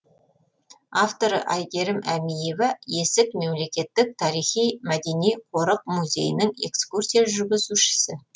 авторы айгерім әмиева есік мемлекеттік тарихи мәдени қорық музейінің экскурсия жүргізушісі